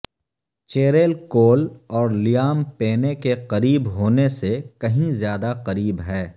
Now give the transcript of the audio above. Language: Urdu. چیریل کول اور لیام پینے کے قریب ہونے سے کہیں زیادہ قریب ہے